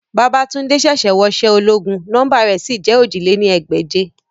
Babatunde ṣẹ̀ṣẹ̀ wọṣẹ́ ológun, nọmba rẹ̀ sì jẹ́ ojì lé ní ẹgbẹ́je